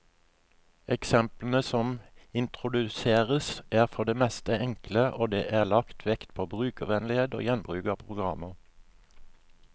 Eksemplene som introduseres, er for det meste enkle, og det er lagt vekt på brukervennlighet og gjenbruk av programmer.